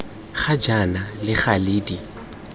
ga jaana le gale di